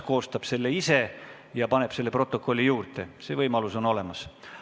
Ta koostab selle ise ja paneb selle protokolli juurde, see võimalus on olemas.